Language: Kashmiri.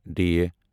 ڑ